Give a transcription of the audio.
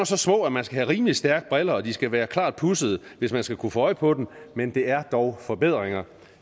så små at man skal have rimelig stærke briller og de skal være klart pudsede hvis man skal kunne få øje på dem men det er dog forbedringer